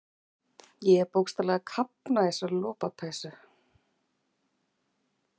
Ég er bókstaflega að kafna í þessari lopapeysu.